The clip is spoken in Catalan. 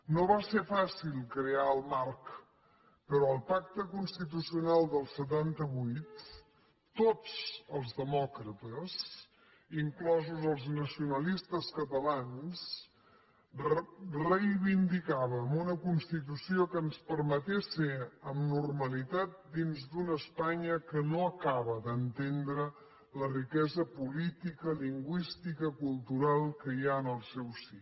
no va ser fàcil crear el marc però al pacte constitucional del setanta vuit tots els demòcrates inclosos els nacionalistes catalans reivindicàvem una constitució que ens permetés ser amb normalitat dins d’una espanya que no acaba d’entendre la riquesa política lingüística cultural que hi ha en el seu si